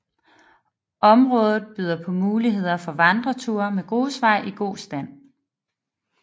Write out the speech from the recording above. Området byder på muligheder for vandreture med grusveje i god stand